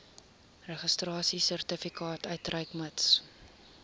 registrasiesertifikaat uitreik mits